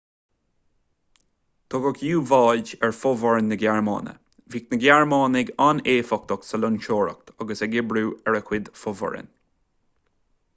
tugadh u-bháid ar fhomhuireáin na gearmáine bhíodh na gearmánaigh an-éifeachtach sa loingseoireacht agus ag oibriú a gcuid fomhuireán